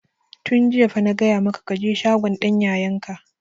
Tun jiya fa na gaya maka ka je shagon dan yayan ka!